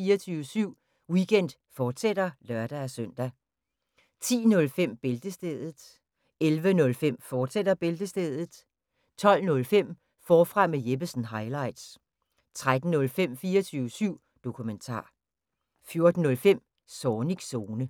24syv Weekend, fortsat (lør-søn) 09:05: 24syv Weekend, fortsat (lør-søn) 10:05: Bæltestedet 11:05: Bæltestedet, fortsat 12:05: Forfra med Jeppesen – highlights 13:05: 24syv Dokumentar 14:05: Zornigs Zone